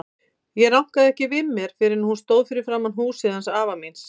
Ég rankaði ekki við mér fyrr en ég stóð fyrir framan húsið hans afa míns.